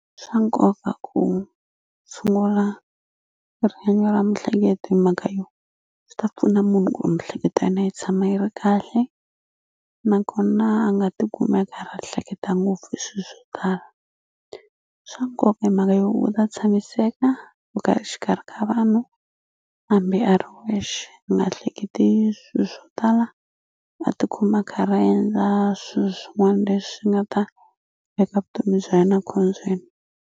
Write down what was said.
Swa nkoka ku tshungula rihanyo ra mihleketo hi mhaka yo swi ta pfuna munhu ku mihleketo ya yena yi tshama yi ri kahle nakona a nga tikumi a karhi a hleketa ngopfu hi swi swo tala swa nkoka i mhaka yo u ta tshamiseka ku ka xikarhi ka vanhu hambi a ri wexe u nga hleketi swilo swo tala a tikuma a karhi a endla swilo swin'wani leswi nga ta veka vutomi bya yena khombyeni.